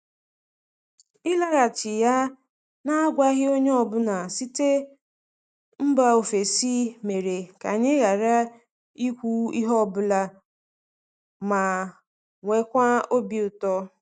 Ịlaghachi ya n’agwaghị onye ọ bụla site mba ofesi mere ka anyị ghara ikwu ihe ọ bụla manwekaa obi ụtọ.